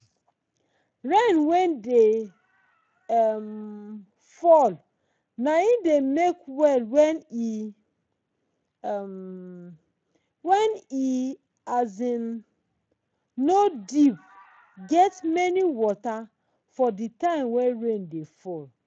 rain wen dey um fall nai dey make well wen e um wen e um nor deep get many water for de time wen rain dey fall.